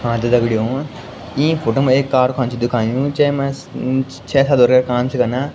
हाँ त दगडियों इं फोटो मा एक कारखाना छ दिखयुं जैमा छे काम छ कना।